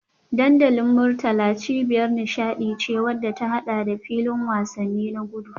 Dandalin Murtala cibiyar nishadi ce wadda ta hada da filin wasanni na gudu